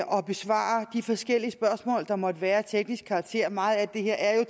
besvare de forskellige spørgsmål der måtte være af teknisk karakter for meget af det her er jo